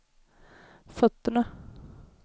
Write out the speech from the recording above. fötterna